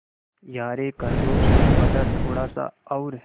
यारे खरगोश दरवाज़ा थोड़ा सा और